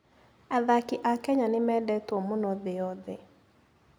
Athaki a Kenya nĩ mendetwo mũno thĩ yothe.